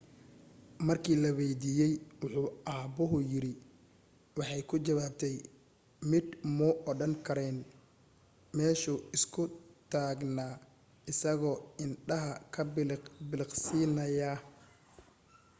markii la waydiiyay wuxu aabuhu yiri waxay ku jawaabtay midh muu odhan karayn meeshu iska taagnaa isagoo indhaha ka bidhiq-bidhiqsiinaya